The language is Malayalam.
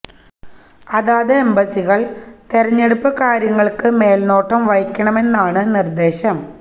അതാത് എംബസികള് തെരഞ്ഞെടുപ്പ് കാര്യങ്ങള്ക്ക് മേല് നോട്ടം വഹിക്കണമെന്നാണ് നിര്ദ്ദേശം